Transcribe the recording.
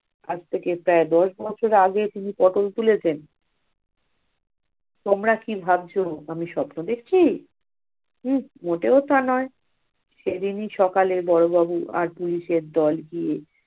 আজ থেকে প্রায় দশ বছর আগে তিনি পটল তুলেছেন। তোমরা কি ভাবছ আমি সপনো দেখছি? উহ মোটেও তা নয়। সেদিনই সকালে বড়বাবু আর পুলিশের দল হু~